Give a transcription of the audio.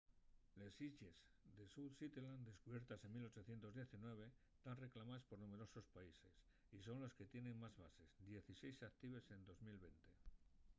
les islles south shetland descubiertes en 1819 tán reclamaes por numberosos paises y son les que tienen más bases dieciséis actives en 2020